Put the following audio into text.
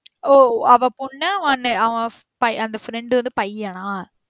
ஓ அவ பொண்ணு அந்த friend வந்து பையனா?